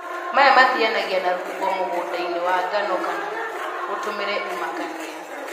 Maya mathianagia na rũhuho mũgũndainĩ wa ngano kana ũtũmĩre imakania